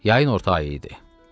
Yayın orta ayı idi.